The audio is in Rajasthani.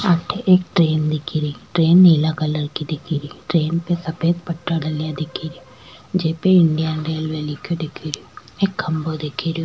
अठे एक ट्रैन दिख री ट्रैन नीला कलर की दिख री ट्रैन पे सफ़ेद पट्टा डला दिख रा जेपी इंडियान रेलवे लिखे दिख रो एक खम्भों दिख रो।